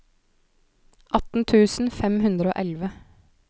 atten tusen fem hundre og elleve